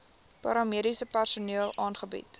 paramediese personeel aangebied